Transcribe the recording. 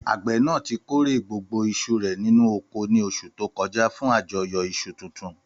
Àgbẹ̀ náà ti kórè gbogbo iṣu rẹ̀ nínú oko ní oṣù tó kọjá fún àjọyọ̀ iṣu tuntun.